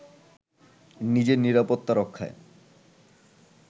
নিজের নিরাপত্তা রক্ষায়